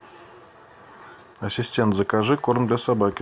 ассистент закажи корм для собаки